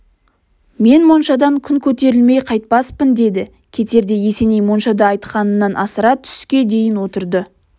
мен моншадан күн көтерілмей қайтпаспын деді кетерде есеней моншада айтқанынан асыра түске дейін отырды